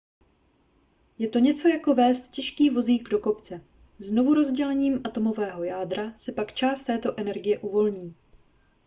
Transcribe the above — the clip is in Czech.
je to něco jako vézt těžký vozík do kopce znovurozdělením atomového jádra se pak část této energie uvolní